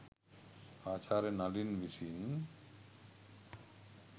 ආචාර්ය නලින් විසින්